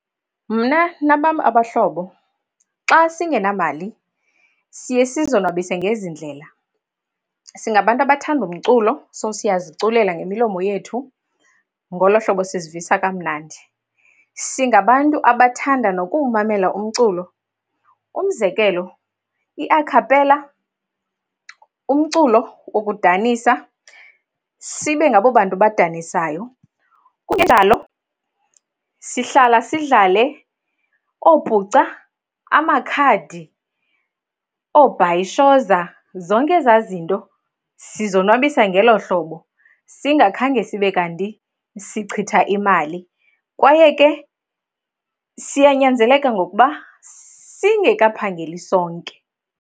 Mna nabam abahlobo xa singenamali siye sizonwabise ngezi ndlela. Singabantu abathanda umculo so siyasiziculela ngemilomo yethu, ngolo hlobo sizivisa kamnandi. Singabantu abathanda nokumamela umculo, umzekelo, i-acapella, umculo wokudanisa, sibe ngabo bantu badanisayo. Kungenjalo sihlala sidlale oopuca, amakhadi, oobhayishoza, zonke ezaa zinto. Sizonwabisa ngelo hlobo singakhange sibe kanti sichitha imali, kwaye ke siyanyanzeleka ngokuba singekaphangeli sonke.